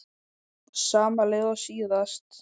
Sama lið og síðast?